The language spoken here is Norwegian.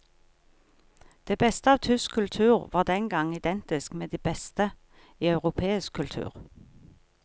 Det beste av tysk kultur var den gang identisk med det beste i europeisk kultur.